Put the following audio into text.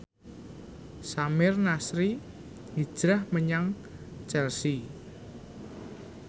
Samir Nasri hijrah menyang Chelsea